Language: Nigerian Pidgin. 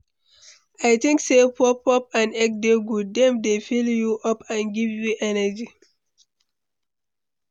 I think say puff-puff and egg dey good, dem dey fill you up and give you energy.